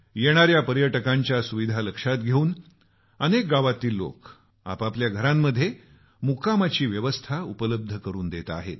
येणाऱ्या पर्यटकांच्या सुविधा लक्षात घेऊन अनेक गावातील लोक आपापल्या घरांमध्ये होम स्टेची व्यवस्था अशा सुविधा उपलब्ध करून देत आहेत